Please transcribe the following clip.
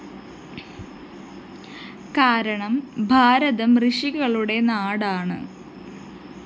കാരണം ഭാരതം ഋഷികളുടെ നാടാണ്